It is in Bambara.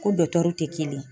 Ko tɛ kelen ye